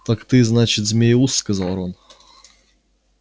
так ты значит змееуст сказал рон